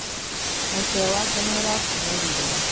Mũtwe wake nĩũrakunũrirwo.